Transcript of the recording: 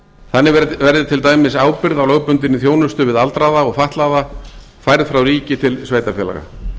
þannig verði til dæmis ábyrgð á lögbundinni þjónustu við aldraða og fatlaða færð frá ríki til sveitarfélaga